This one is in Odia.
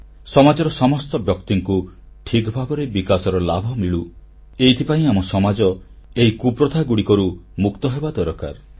ସମାଜର ସମସ୍ତ ବ୍ୟକ୍ତିଙ୍କୁ ଠିକ ଭାବରେ ବିକାଶର ଲାଭ ମିଳୁ ଏଥିପାଇଁ ଆମ ସମାଜ ଏହି କୁପ୍ରଥାଗୁଡ଼ିକରୁ ମୁକ୍ତ ହେବା ଦରକାର